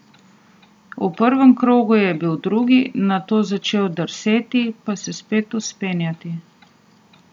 V prvem krogu je bil drugi, nato začel drseti, pa se spet vzpenjati.